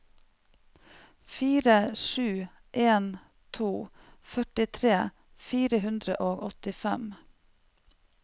fire sju en to førtifire fire hundre og åttifem